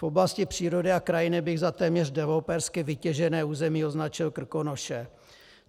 V oblasti přírody a krajiny bych za téměř developersky vytěžené území označil Krkonoše.